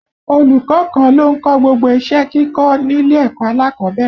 Olùkọ́ kan ló ń kọ́ gbogbo iṣẹ́ kíkọ́ nílé ẹ̀kọ́ alákọ̀ọ́bẹ̀rẹ̀